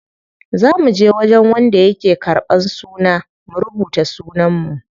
Za muje wajen wanda yake ƙarban suna mu rubuta sunan mu.